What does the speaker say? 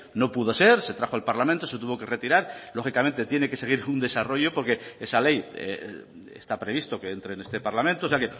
no pudo ser se trajo al parlamento se tuvo que retirar lógicamente tiene que seguir un desarrollo porque esa ley está previsto que entre en este parlamento o sea